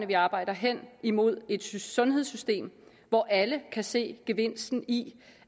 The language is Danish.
vi arbejder hen imod et sundhedssystem hvor alle kan se gevinsten i